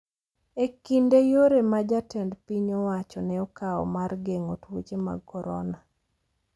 ” E kind yore ma jatend piny owacho ne okawo mar geng’o tuoche mag Corona